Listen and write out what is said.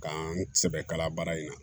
K'an sɛbɛ kala baara in na